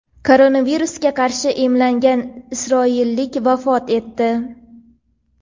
Koronavirusga qarshi emlangan isroillik vafot etdi.